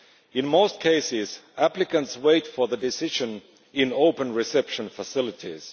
In most cases, applicants wait for the decision in open reception facilities.